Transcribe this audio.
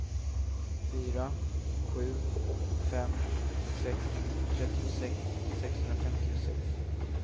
fyra sju fem sex trettiosex sexhundrafemtiosex